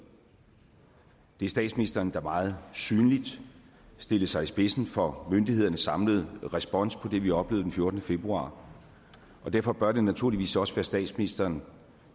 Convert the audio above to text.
vi statsministeren der meget synligt stillede sig i spidsen for myndighedernes samlede respons på det vi oplevede den fjortende februar og derfor bør det naturligvis også være statsministeren